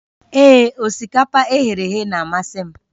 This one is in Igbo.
Ee, osikapa e ghere eghe na-amasị m